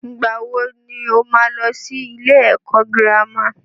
Ìgbà wo ni ó máa lọ sí ilé ẹ̀kọ́ girama?